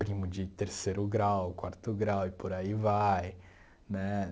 primo de terceiro grau, quarto grau e por aí vai né.